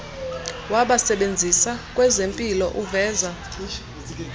wabasebenzi kwezempilo uveza